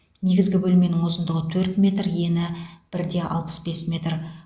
негізгі бөлменің ұзындығы төрт метр ені бір де алпыс бес метр